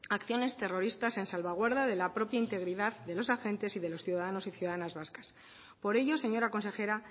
a acciones terroristas en salvaguarda de la propia integridad de los agentes y de los ciudadanos y ciudadanas vascas por ello señora consejera